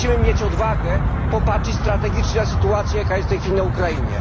Musimy mieć odwagę popatrzeć strategicznie na sytuację, jaka jest w tej chwili na Ukrainie.